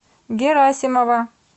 герасимова